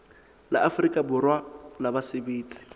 la afrika borwa la basebetsi